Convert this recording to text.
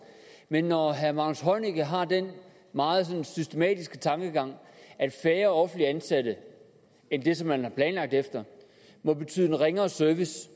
men når herre magnus heunicke har den meget systematiske tankegang at færre offentligt ansatte end det som man har planlagt efter må betyde en ringere service